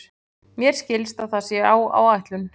Mér skilst að það sé á áætlun.